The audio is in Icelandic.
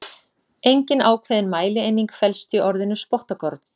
Engin ákveðin mælieining felst í orðinu spottakorn.